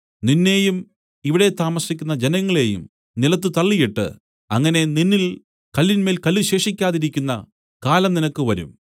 നിന്നെയും ഇവിടെ താമസിക്കുന്ന ജനങ്ങളെയും നിലത്തു തള്ളിയിട്ട് അങ്ങനെ നിന്നിൽ കല്ലിന്മേൽ കല്ല് ശേഷിപ്പിക്കാതിരിക്കുന്ന കാലം നിനക്ക് വരും